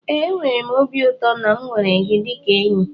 ee, enwere m obi ụtọ na m nwere gị dịka enyi